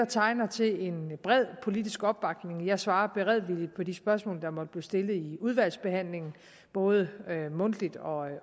tegner til en bred politisk opbakning jeg svarer beredvilligt på de spørgsmål der måtte blive stillet i udvalgsbehandlingen både mundtligt og